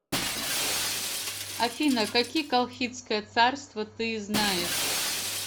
афина какие колхидское царство ты знаешь